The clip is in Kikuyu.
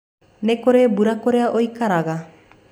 Nĩ kũrĩ mbura kũrĩa ũikaraga?